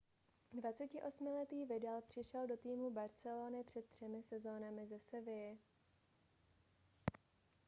28letý vidal přišel do týmu barcelony před třemi sezónami ze sevilly